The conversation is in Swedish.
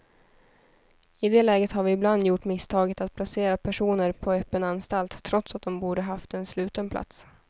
I det läget har vi ibland gjort misstaget att placera personer på öppen anstalt trots att de borde ha haft en sluten plats.